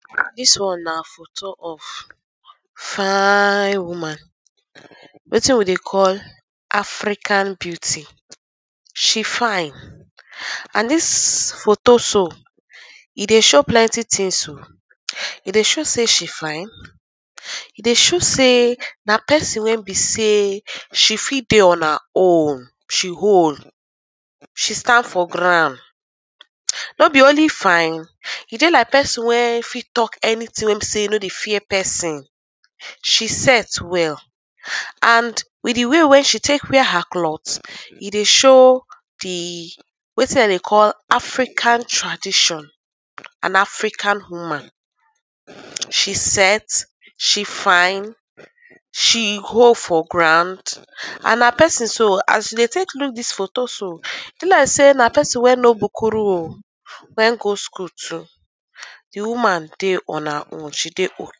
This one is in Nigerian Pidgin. Dis one na photo of fine woman, wetin we dey call African beauty, she fine. And dis photo so, e dey show plenty tins oh, e dey show sey she fine, e dey show sey na pesin wey be sey she fit dey on her own, she own, she stand for ground. No be only fine, e dey like pesin wey fit talk anytin wey be sey no dey fear pesin, she set well and with di way wey she take wear her cloth, e dey show di wetin dem dey call African tradition and African woman. She set, she fine, she hold for ground and na pesin so, as we dey take look dis photo so be like sey na pesin wey no bukuru oh, naim go skul too, di woman dey on her own she dey